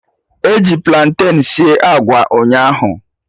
Eji platen sie agwa ụnyaahụ